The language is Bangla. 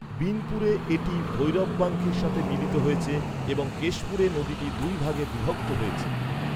বিনপুরে এটি ভৈরববাঙ্কির সাথে মিলিত হয়েছে এবং কেশপুরে নদীটি দুই ভাগে বিভক্ত হয়েছে।